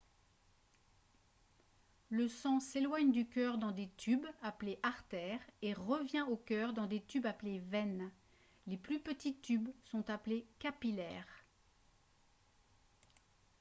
le sang s'éloigne du cœur dans des tubes appelés artères et revient au cœur dans des tubes appelés veines les plus petits tubes sont appelés capillaires